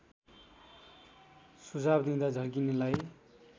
सुझाव दिँदा झर्किनेलाई